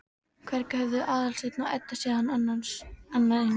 Hvergi höfðu þau Aðalsteinn og Edda séð annað eins.